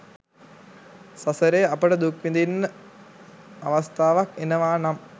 සසරේ අපට දුක් විඳින්න අවස්ථාවක් එනවා නම්